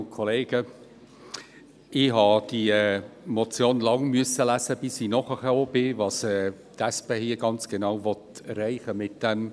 Ich musste diese Motion lange lesen, bis ich verstand, was die SP damit genau erreichen will.